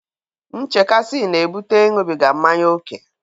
Nchekasị na-ebute Ịṅụbiga mmanya ókè.